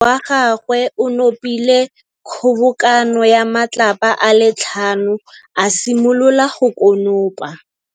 Morwa wa gagwe o nopile kgobokanô ya matlapa a le tlhano, a simolola go konopa.